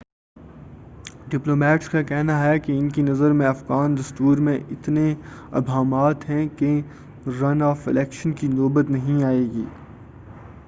diplomats کا کہنا ہے ان کی نظر میں افغان دستور میں اتنے ابہامات ہیں کہ رن آف الیکشن کی نوبت نہیں آئے گی